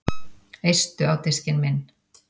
Eistu á diskinn minn